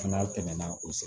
N'a tɛmɛna o